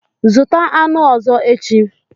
Zụta aṅụ ọzọ echi.